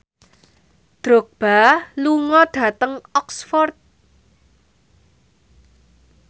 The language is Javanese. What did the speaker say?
Drogba lunga dhateng Oxford